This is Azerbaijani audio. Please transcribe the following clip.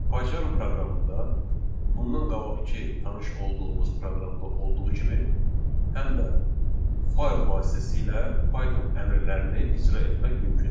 Pycharm proqramında bundan qabaqkı tanış olduğumuz proqramda olduğu kimi həm də fayl vasitəsilə Python əmrlərini icra etmək mümkündür.